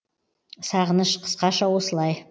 сағыныш қысқаша осылай